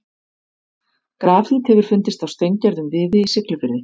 Grafít hefur fundist á steingerðum viði í Siglufirði.